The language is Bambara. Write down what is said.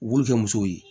U b'u kɛ musow ye